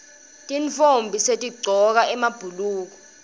tintfombi setigcoka emabhuluko